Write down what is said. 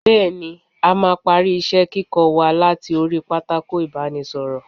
Bẹẹni, a máa parí isẹ - kíkọ wa láti orí pátákó ibanisoro.